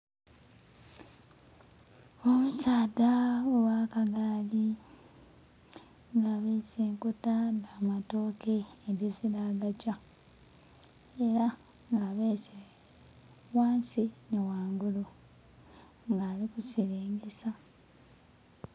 Omusaadha ogha kagaali nga abese enkota dha matoke edhizira agagya era nga abese ghansi nhi ghangulu nga ali kusilingisa.